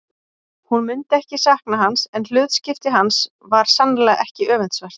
Hún myndi ekki sakna hans en hlutskipti hans var sannarlega ekki öfundsvert.